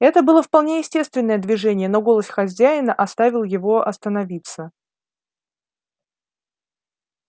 это было вполне естественное движение но голос хозяина оставил его остановиться